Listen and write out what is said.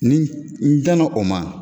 Ni n danna o ma